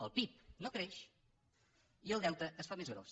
el pib no creix i el deute es fa més gros